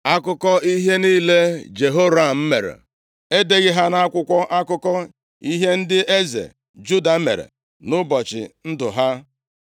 Akụkọ ihe niile Jehoram mere, e deghị ha nʼakwụkwọ akụkọ ihe ndị eze Juda mere nʼụbọchị ndụ ha?